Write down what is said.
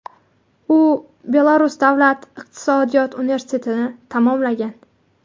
U Belarus davlat iqtisodiyot universitetini tamomlagan.